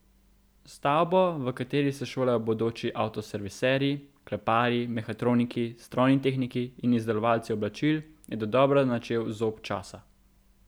Stavbo, v kateri se šolajo bodoči avtoserviserji, kleparji, mehatroniki, strojni tehniki in izdelovalci oblačil, je dodobra načel zob časa.